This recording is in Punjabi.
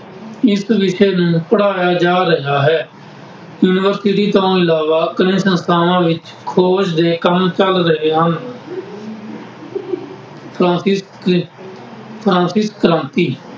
ਇਸ ਵਿਸ਼ੇ ਨੂੰ ਪੜ੍ਹਾਇਆ ਜਾ ਰਿਹਾ ਹੈ। ਯੂਨੀਵਰਸਿਟੀ ਤੋਂ ਇਲਾਵਾ ਕਈ ਸੰਸਥਾਵਾਂ ਵਿੱਚ ਖੋਜ ਦੇ ਕੰਮ ਚੱਲ ਰਹੇ ਹਨ। ਫਰਾਂਸਿਸ ਫਰਾਂਸੀ ਕ੍ਰਾਤੀ